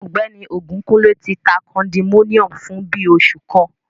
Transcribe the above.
Ọgbẹni Ogunkunle ti ta kondominiomu fun bii oṣu kan